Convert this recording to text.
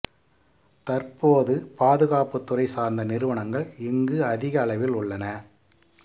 தற்போது பாதுகாப்பு துறை சார்ந்த நிறுவனங்கள் இங்கு அதிகளவில் உள்ளன